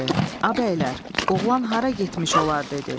Abəylər, oğlan hara getmiş olar?